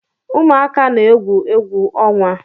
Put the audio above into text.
Ụmuaka na-egwu egwu ọnwa